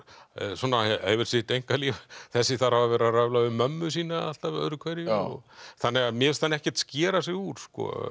svona hefur sitt einkalíf þessi þarf að vera að röfla við mömmu sína alltaf öðru hverju þannig að mér finnst hann ekkert skera sig úr